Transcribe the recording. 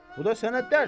Bu da sənə dərs.